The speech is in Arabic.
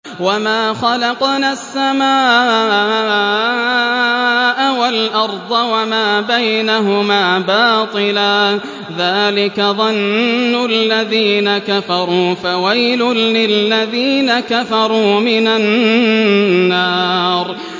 وَمَا خَلَقْنَا السَّمَاءَ وَالْأَرْضَ وَمَا بَيْنَهُمَا بَاطِلًا ۚ ذَٰلِكَ ظَنُّ الَّذِينَ كَفَرُوا ۚ فَوَيْلٌ لِّلَّذِينَ كَفَرُوا مِنَ النَّارِ